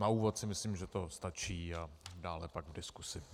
Na úvod si myslím, že to stačí, a dále pak v diskuzi.